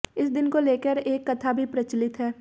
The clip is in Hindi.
इस दिन को लेकर एक कथा भी प्रचलित है